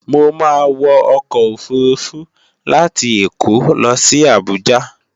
Mo máa wọ ọkọ̀ òfurufú láti Èkó lo sí Àbújá